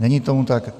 Není tomu tak.